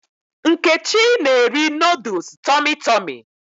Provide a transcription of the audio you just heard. Nkechi na-eri nooduls Tọmị Tọmị